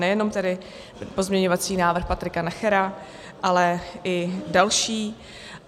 Nejenom tedy pozměňovací návrh Patrika Nachera, ale i další.